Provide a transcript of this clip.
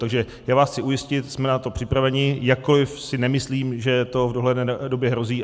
Takže já vás chci ujistit, jsme na to připraveni, jakkoli si nemyslím, že to v dohledné době hrozí.